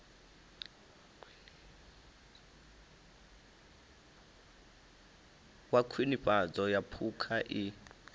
wa khwinifhadzo ya phukha i